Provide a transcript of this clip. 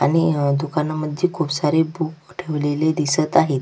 आणि दुकानामध्ये खुप सारे बूक ठेवलेले दिसत आहेत.